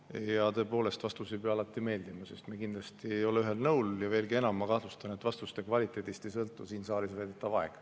Ja tõepoolest, vastus ei pea alati meeldima, sest me kindlasti ei ole ühel nõul, ja veelgi enam, ma kahtlustan, et vastuste kvaliteedist ei sõltu siin saalis veedetav aeg.